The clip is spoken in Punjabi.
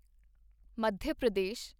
ਮੱਧਿਆ ਪ੍ਰਦੇਸ਼